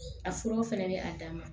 A furaw fɛnɛ bɛ a dan ma